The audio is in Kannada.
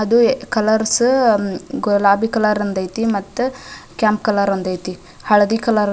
ಅದು ಕಾಲೌರ್ಸ್ ಗುಲಾಬಿ ಕಲರ್ ಒಂದ್ ಐತಿ ಮತ್ತೆ ಕೆಂಪ್ ಕಲರ್ ಐತಿ ಹಳದಿ ಕಲರ್ --